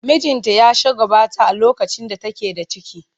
Mijinta ya shagwaɓata a lokacin da take da ciki.